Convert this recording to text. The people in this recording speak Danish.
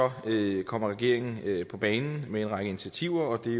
kommer regeringen på banen med en række initiativer og det